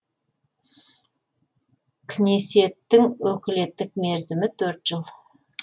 кнесеттің өкілеттік мерзімі төрт жыл